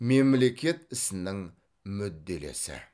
мемлекет ісінің мүдделесі